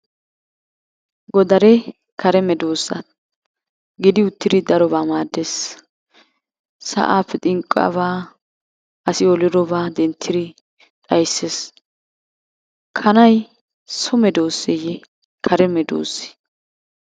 Godaree kare medoosa gidi uttidi darobaa maadees. Sa'aappe xinqqiyaba, asi olidobaa denttidi xayssees, kanay so medooseye kare medoosee?